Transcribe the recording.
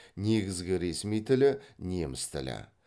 негізгі ресми тілі неміс тілі